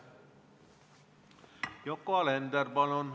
Yoko Alender, palun!